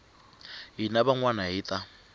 hina van wana hi ta